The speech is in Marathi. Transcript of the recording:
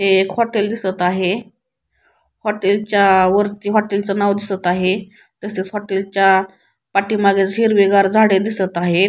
हे एक हॉटेल दिसत आहे हॉटेलच्या वरती हॉटेलच नाव दिसत आहे तसेच हॉटेलच्या पाठीमागे हिरवे गार झाडे दिसत आहे.